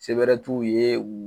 Se bɛrɛ t'u ye